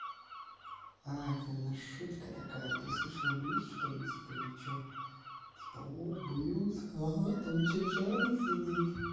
а это наверное шутка такая ты слышала блюз что ли типа иди что типа у блюз там что чёрный сидит